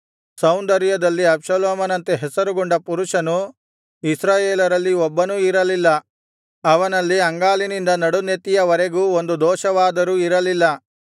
ಸೌಂದರ್ಯದಲ್ಲಿ ಅಬ್ಷಾಲೋಮನಂತೆ ಹೆಸರುಗೊಂಡ ಪುರುಷನು ಇಸ್ರಾಯೇಲರಲ್ಲಿ ಒಬ್ಬನೂ ಇರಲಿಲ್ಲ ಅವನಲ್ಲಿ ಅಂಗಾಲಿನಿಂದ ನಡುನೆತ್ತಿಯ ವರೆಗೂ ಒಂದು ದೋಷವಾದರೂ ಇರಲಿಲ್ಲ